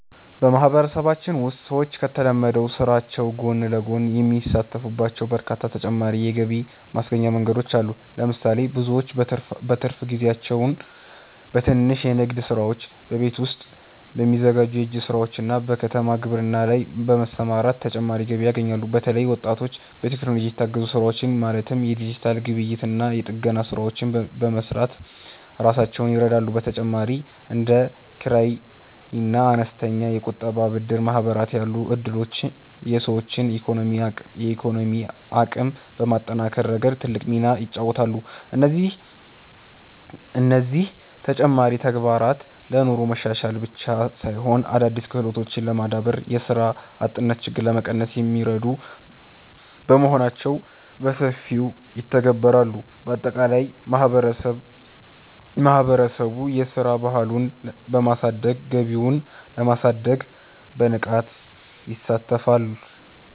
በማህበረሰባችን ውስጥ ሰዎች ከተለመደው ስራቸው ጎን ለጎን የሚሳተፉባቸው በርካታ ተጨማሪ የገቢ ማስገኛ መንገዶች አሉ። ለምሳሌ፣ ብዙዎች በትርፍ ጊዜያቸው በትንንሽ የንግድ ስራዎች፣ በቤት ውስጥ በሚዘጋጁ የእጅ ስራዎችና በከተማ ግብርና ላይ በመሰማራት ተጨማሪ ገቢ ያገኛሉ። በተለይም ወጣቶች በቴክኖሎጂ የታገዙ ስራዎችን ማለትም የዲጂታል ግብይትና የጥገና ስራዎችን በመስራት ራሳቸውን ይረዳሉ። በተጨማሪም እንደ ኪራይና አነስተኛ የቁጠባና ብድር ማህበራት ያሉ እድሎች የሰዎችን የኢኮኖሚ አቅም በማጠናከር ረገድ ትልቅ ሚና ይጫወታሉ። እነዚህ ተጨማሪ ተግባራት ለኑሮ መሻሻል ብቻ ሳይሆን፣ አዳዲስ ክህሎቶችን ለማዳበርና የስራ አጥነትን ችግር ለመቀነስ የሚረዱ በመሆናቸው በሰፊው ይተገበራሉ። ባጠቃላይ ማህበረሰቡ የስራ ባህሉን በማሳደግ ገቢውን ለማሳደግ በንቃት ይሳተፋል።